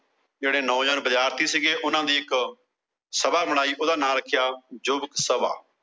ਜਿਹੜੇ ਨੌਜਵਾਨ ਬਾਝਰਤੀ ਸੀ। ਉਹਨਾਂ ਦੀ ਇੱਕ ਸਭਾ ਬਣਾਈ ਗਈ। ਉਹੰਦਾ ਨਾ ਰੱਖਿਆ ਜੁਗਤ ਸਭਾ।